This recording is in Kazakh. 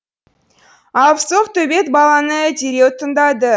алыпсоқ төбет баланы дереу тыңдады